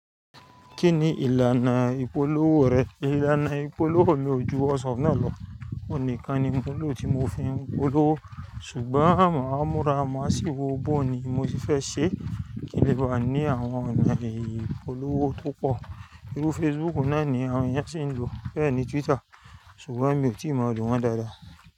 Kí ni ìlànà ìpolówó rẹ? Ìlànà ìpolówó mi ò ju WhatsApp náà lọ. Òhun nìkan ni mo n lò tí mo fi ń polówó. Ṣùgbọ́n maa múrà má sì wo bó ni mo ti fẹ́ ṣe kí lè bá ní àwọn ọ̀nà ìpolówó tó pọ̀. Irú Facebook náà ni àwọn ènìyàn sì ń lò, bẹ́ẹ̀ ni Twitter ṣùgbọ́n mi ò tíì maa lọ̀ wọn dáadáa.